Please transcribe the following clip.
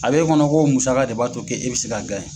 A bɛ'e kɔnɔ ko musa de b'a to k' e bɛ se ka